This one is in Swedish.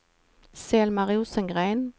Selma Rosengren